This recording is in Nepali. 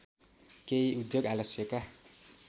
केही उद्योग आलस्यका